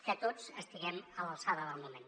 que tots estiguem a l’alçada el moment